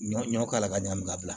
Ɲɔ ɲɔ k'ala ka ɲan ka bila